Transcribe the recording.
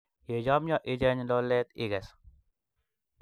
yechomnyo icheny lolet ikes